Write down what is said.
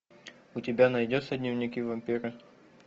у тебя найдется дневники вампира